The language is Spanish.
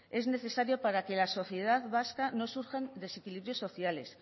es necesaria para que en la sociedad vasca no surjan desequilibrios sociales